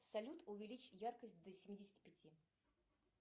салют увеличь яркость до семидесяти пяти